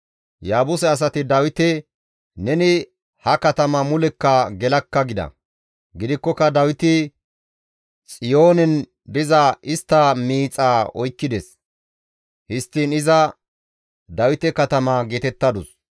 Yaabuse asati Dawite, «Neni ha katama mulekka gelakka» gida; gidikkoka Dawiti Xiyoonen diza istta miixaa oykkides; histtiin iza Dawite Katama geetettadus.